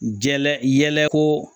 Jɛyɛlɛ ko